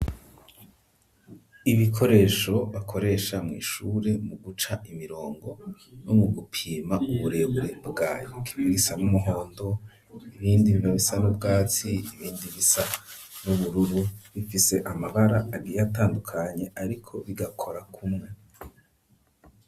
Ibikoresho bakoresha mw'ishure mu guca imirongo no mu gupima uburebure bwayo hari ibisa n'umuhondo ibindi biba bisa n'ubwatsi ibindi bisa n'ubururu bifise amabara agiye atandukanye ariko bigakora kumwe.